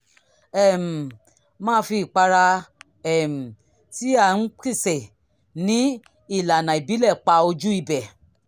um máa fi ìpara um tí a p`sè ní ìlànà ìbílẹ̀ pa ojú ibẹ̀